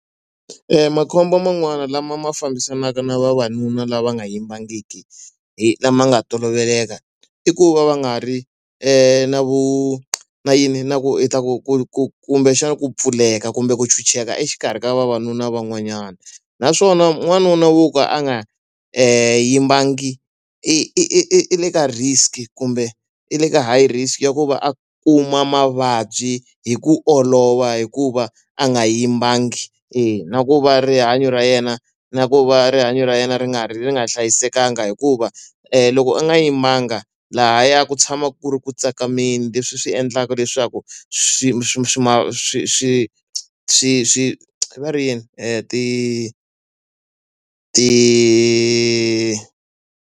makhombo man'wani lama ma fambisanaka na vavanuna lava nga yimbangiki hi lama nga toloveleka i ku va va nga ri na vu na yini na ku i ta ku ku ku kumbexana ku pfuleka kumbe ku ntshunxekanga exikarhi ka vavanuna van'wanyana. Naswona n'wanuna wo ka a nga yimbangi i i i i le ka risk-i kumbe i le ka high risk ya ku va a kuma mavabyi hi ku olova hikuva a nga yimbangi. E na ku va rihanyo ra yena na ku va rihanyo ra yena ri nga ri nga hlayisekanga hikuva loko u nga yimanga, lahaya ku tshama ku ri ku tsakameni leswi swi endlaka leswaku swi swi swi swi swi swi swi swi va ri yini ti ti.